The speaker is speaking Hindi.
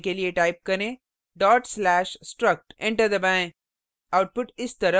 निष्पादित करने के लिए type करें dot slash/struct enter दबाएँ